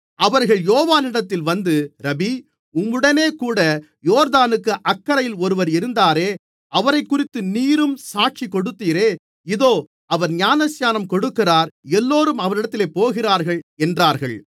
அவர்கள் யோவானிடத்தில் வந்து ரபீ உம்முடனேகூட யோர்தானுக்கு அக்கரையில் ஒருவர் இருந்தாரே அவரைக்குறித்து நீரும் சாட்சி கொடுத்தீரே இதோ அவர் ஞானஸ்நானம் கொடுக்கிறார் எல்லோரும் அவரிடத்தில் போகிறார்கள் என்றார்கள்